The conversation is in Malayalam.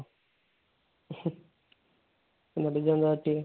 എന്നിട്ട് പിന്നെ എന്താ പറ്റിയെ?